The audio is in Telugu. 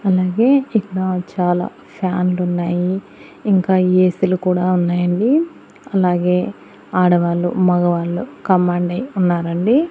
అలాగే ఇక్కడా చాలా ఫ్యాన్లులున్నాయి ఇంకా ఏ_సీలు కూడా ఉన్నాయండి అలాగే ఆడవాళ్లు మగవాళ్ళు కంబాండై ఉన్నారండి.